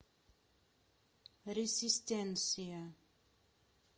ресистенсия